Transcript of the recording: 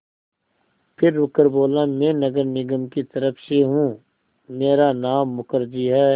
फिर रुककर बोला मैं नगर निगम की तरफ़ से हूँ मेरा नाम मुखर्जी है